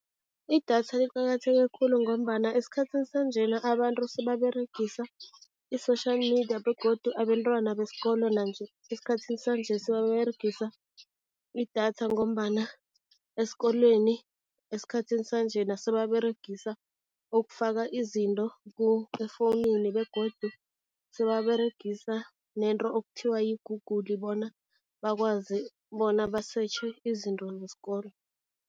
Idatha liqakatheke khulu ngombana esikhathini sanjena abantu sebaberegisa i-social media begodu abentwana besikolo nanje esikhathini sanje sebaberegise idatha ngombana esikolweni esikhathini sanjena sebaberegisa ukufaka izinto efowunini begodu sebaberegisa nento okuthiwa yi-Google, bona bakwazi bona basetjhe izinto zesikolo.